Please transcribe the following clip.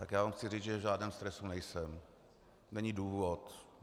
Tak já vám chci říct, že v žádném stresu nejsem, není důvod.